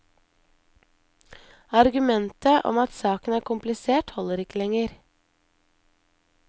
Argumentet om at saken er komplisert, holder ikke lenger.